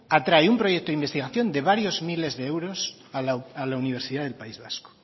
atrae un proyecto de investigación de varios miles de euros a la universidad del país vasco